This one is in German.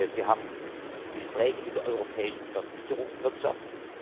Wir haben Gespräche mit der europäischen Versicherungswirtschaft.